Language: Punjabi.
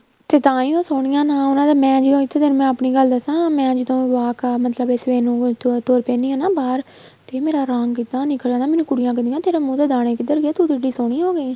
ਤੇ ਤਾਂਹੀ ਉਹ ਸੋਹਣੀਆਂ ਨਾ ਉਹਨਾ ਦਾ ਮੈਂ ਜੋ ਇੱਥੇ ਤੈਨੂੰ ਮੈਂ ਆਪਣੀ ਗੱਲ ਦੱਸਾ ਮੈਂ ਜਦੋਂ walk ਮਤਲਬ ਇਸ ਵੇਲੇ ਨੂੰ ਤੁਰ ਪੈਂਦੀ ਆ ਬਹਾਰ ਤੇ ਮੇਰਾ ਰੰਗ ਐਨਾ ਨਿੱਖਰ ਆਂਦਾ ਆ ਮੈਨੂੰ ਕੁੜੀਆਂ ਕਹਿੰਦਿਆਂ ਤੇਰੇ ਮੂੰਹ ਤੇ ਦਾਣੇ ਕਿੱਧਰ ਗਏ ਤੂੰ ਤੇ ਇੱਡੀ ਸੋਹਣੀ ਹੋ ਗਈ